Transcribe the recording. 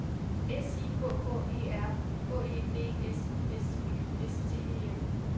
S I K K E R H E D S S Y S T E M